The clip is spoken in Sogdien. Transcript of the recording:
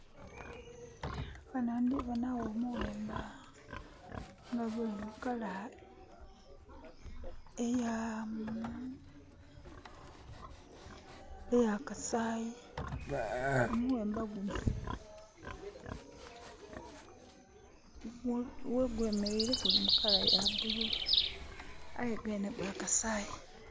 Ghano ndhiboona gho omuwemba nga guli mu colour ey'akasaayi. Omuwemba guno ghegwemeleire guli my colour ya blue. Aye gwenhe gwa kasaayi.